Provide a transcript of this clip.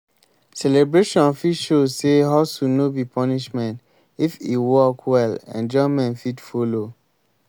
celebration fit show sey hustle no be punishment if e work well enjoyment fit follow.